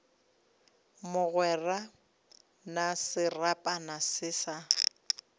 mogwera na serapana se sa